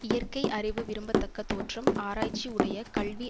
இயற்கை அறிவு விரும்பத்தக்கத் தோற்றம் ஆராய்ச்சி உடையக் கல்வி